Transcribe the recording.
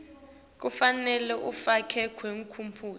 kufanele ifakwe tiphumuti